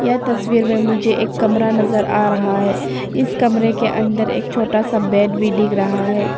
यह तस्वीर में मुझे एक कमरा नजर आ रहा है इस कमरे के अंदर एक छोटा सा बेड भी दिख रहा है।